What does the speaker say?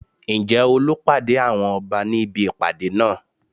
Ǹjẹ́ Olú pàdé àwọn Ọba ní ibi ìpàdé náà?